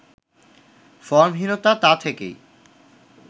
ফর্মহীনতা তা থেকেই